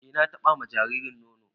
E na ba wa jaririn nono